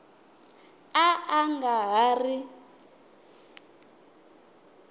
a a nga ha ri